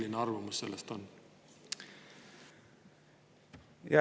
Mis teie arvamus sellest on?